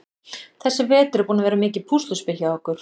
Þessi vetur er búinn að vera mikið púsluspil hjá okkur.